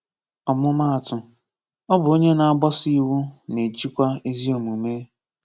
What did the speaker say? Ọmụmaatụ: Ọ bụ onye na-agbaso iwu na-ejikwa ezi omume.